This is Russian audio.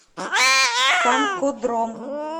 танкодром